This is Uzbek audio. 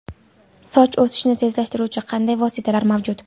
Soch o‘sishini tezlashtiruvchi qanday vositalar mavjud?